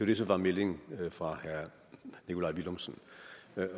det som var meldingen fra herre nikolaj villumsen